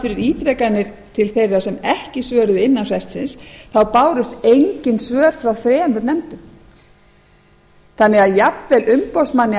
fyrir ítrekanir til þeirra sem ekki svöruðu innan frestsins þá bárust engin svör frá þremur nefndum þannig að jafnvel umboðsmanni